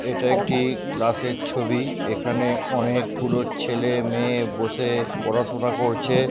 এটা একটি ক্লাস এর ছবি এখানে অনেকগুলো ছেলেমেয়ে বসে পড়াশোনা করছে।